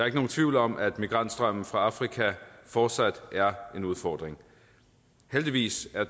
ikke nogen tvivl om at migrantstrømmen fra afrika fortsat er en udfordring heldigvis er